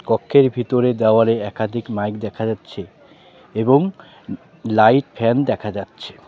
কক্ষের ভিতরে দেওয়ালে একাধিক মাইক দেখা যাচ্ছে এবং লাইট ফ্যান দেখা যাচ্ছে .